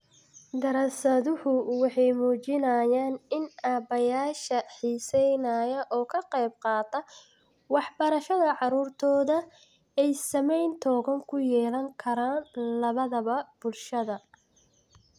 Daraasaduhu waxay muujinayaan in aabbayaasha xiisaynaya oo ka qayb qaata waxbarashada carruurtooda, ay saameyn togan ku yeelan karaan labadaba bulshada